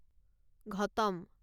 ghatam